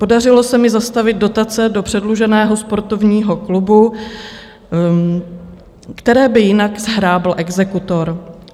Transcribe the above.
Podařilo se mi zastavit dotace do předluženého sportovního klubu, které by jinak shrábl exekutor.